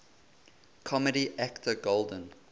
comedy actor golden